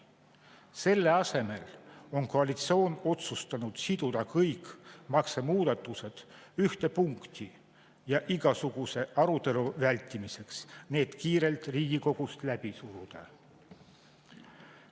Selle asemel on koalitsioon otsustanud siduda kõik maksumuudatused ühte punti ja igasuguse arutelu vältimiseks need kiirelt Riigikogust läbi suruda.